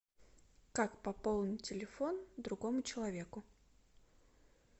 как пополнить телефон другому человеку